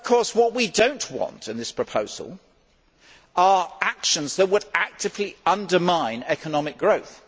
What we do not want in this proposal are actions that would actively undermine economic growth.